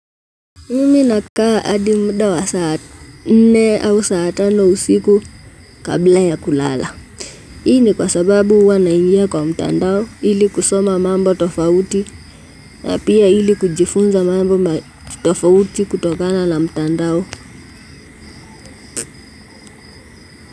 Mimi nakaa hadi muda wa saa nne au saa tano usiku kabla ya kulala. Hii ni kwa sababu huwa naingia kwa mtandao ili kusoma mambo tofauti na pia ili kujifunza mambo tofauti kutokana na mtandao.